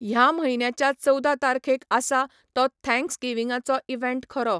ह्या म्हयन्याच्या चवदा तारखेक आसा तो थॅंक्सगीवींगाचो इवँट खरो?